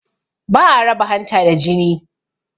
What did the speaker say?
Ba a raba hanta da jini